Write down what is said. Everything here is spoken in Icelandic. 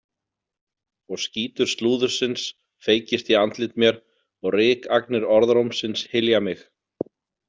Og skítur slúðursins feykist í andlit mér og rykagnir orðrómsins hylja mig.